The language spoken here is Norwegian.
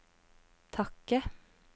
takke